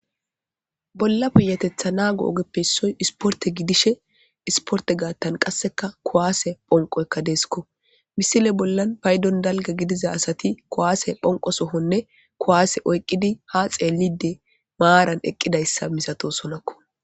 bolla puyatethana nago ogeppe ssoy isporte gidishe isporte gaattan qasseka kowaase phonqoykka deeskko misile bollan paydon dalga gidiza asati kowaase phonqo sohonne kowaase oyqqidi ha xeelide maaran eqqidayssa misato sonokko